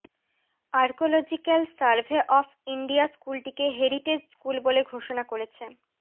archaeological survey of India স্কুলটিকে heritage school বলে ঘোষনা করেছে